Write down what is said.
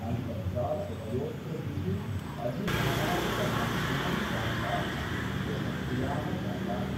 अन्तर्जालउपयोक्तृभिः अधिसामाजिकमाध्यमं वार्ताः लोकप्रियाः जाताः।